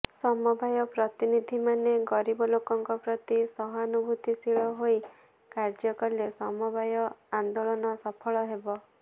ସମବାୟ ପ୍ରତିନିଧିମାନେ ଗରିବ ଲୋକଙ୍କ ପ୍ରତି ସହାନୁଭୂତିଶୀଳ ହୋଇ କାର୍ଯ୍ୟ କଲେ ସମବାୟ ଆନେ୍ଦାଳନ ସଫଳ ହେବ